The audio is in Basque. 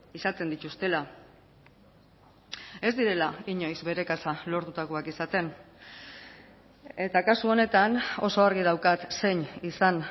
izaten dituztela ez direla inoiz bere kasa lortutakoak izaten eta kasu honetan oso argi daukat zein izan